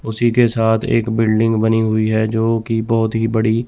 उसी के साथ एक बिल्डिंग बनी हुई है जो की बहोत ही बड़ी--